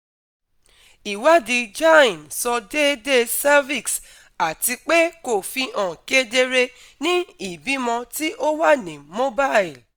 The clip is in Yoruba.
iwadi cs] gyne sọ deede cervix atipe ko fihan kedere ni ibimọ ti o wa ni mobile